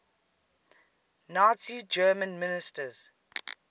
nazi germany ministers